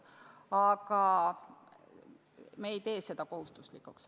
Aga me ei tee seda kohustuslikuks.